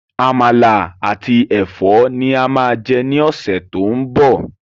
Àmàlà àti Ẹ̀fọ́ ni a máa jẹ ní ọ̀sẹ̀ to ń bọ̀.